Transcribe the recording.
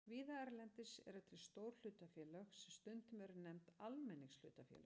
Víða erlendis eru til stór hlutafélög sem stundum eru nefnd almenningshlutafélög.